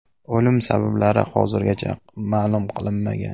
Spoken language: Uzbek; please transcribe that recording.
O‘lim sabablari hozirgacha ma’lum qilinmagan.